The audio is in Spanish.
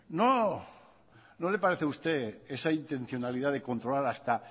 no le parece a usted esa intencionalidad de controlar hasta